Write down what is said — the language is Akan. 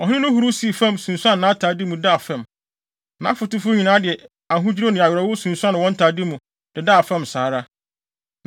Ɔhene no huruw sii fam, sunsuan nʼatade mu, daa fam. Nʼafotufo nyinaa de ahodwiriw ne awerɛhow sunsuan wɔn ntade mu, dedaa fam saa ara.